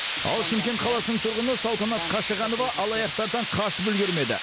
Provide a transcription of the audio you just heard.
ал шымкент қаласының тұрғыны салтанат қашағанова алаяқтардан қашып үлгермеді